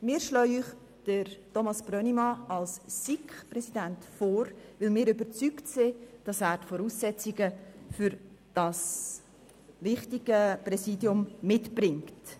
Wir schlagen Ihnen Thomas Brönnimann als SiK-Präsidenten vor, weil wir überzeugt sind, dass er die Voraussetzungen für dieses wichtige Präsidium mitbringt.